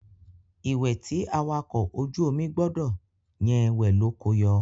Ìwẹ̀ tí awakọ̀ ojú omi gbọdọ̀ yẹn wẹ̀ ló ko yọ.